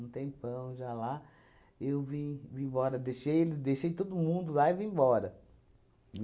um tempão já lá, eu vim, vim embora, deixei eles, deixei todo mundo lá e vim embora.